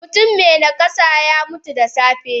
Mutum me nakasa yamutu da safe.